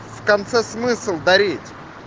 в конце смысл дарить